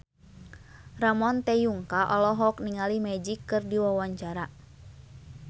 Ramon T. Yungka olohok ningali Magic keur diwawancara